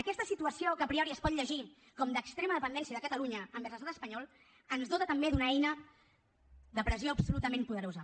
aquesta situació que a priori es pot llegir com d’extrema dependència de catalunya envers l’estat espanyol ens dota també d’una eina de pressió absolutament poderosa